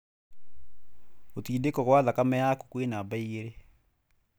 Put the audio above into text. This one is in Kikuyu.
Gũtindĩko kwa thakame yakũ kwĩ namba igĩrĩ.